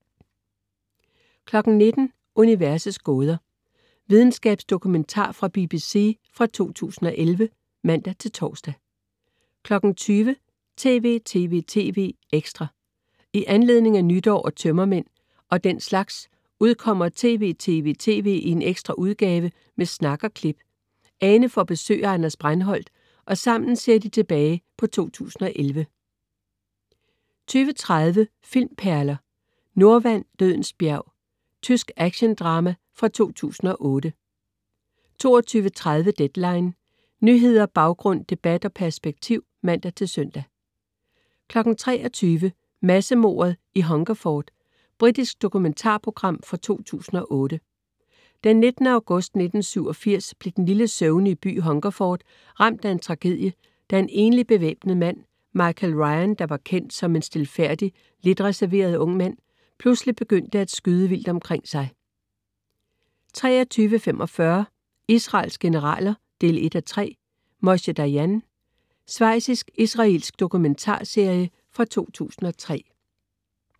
19.00 Universets gåder. Videnskabsdokumentar fra BBC fra 2011 (man-ons) 20.00 TV!TV!TV! Ekstra. I anledning af nytår og tømmermænd og den slags udkommer TV!TV!TV! i en ekstra udgave med snak og klip. Ane får besøg af Anders Breinholt, og sammen ser de tilbage på 2011 20.30 Filmperler: Nordwand, dødens bjerg. Tysk actiondrama fra 2008 22.30 Deadline. Nyheder, baggrund, debat og perspektiv (man-søn) 23.00 Massemordet i Hungerford. Britisk dokumentarprogram fra 2008. Den 19. august 1987 blev den lille søvnige by Hungerford ramt af en tragedie, da en enlig bevæbnet mand, Michael Ryan, der var kendt som en stilfærdig, lidt reserveret ung mand, pludselig begyndte at skyde vildt omkring sig 23.45 Israels generaler 1:3. Moshe Dayan. Svejtsisk/israelsk dokumentarserie fra 2003